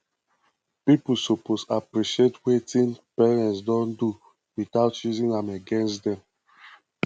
pipo suppose appreciate wetin parents don do without using am against dem